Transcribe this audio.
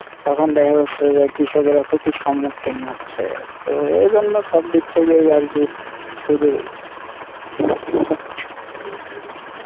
তখন দেখা যাচ্ছে যে কৃষকেরা ক্ষতির সম্মুখীন হচ্ছে তো এইজন্য সব দিক থেকেই আরকি খুবই